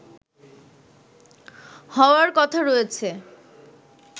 হওয়ার কথা রয়েছে